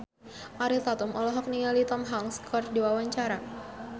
Ariel Tatum olohok ningali Tom Hanks keur diwawancara